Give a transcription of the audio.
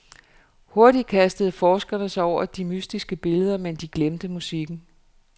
Hurtigt kastede forskerne sig over de mystiske billeder, men de glemte musikken.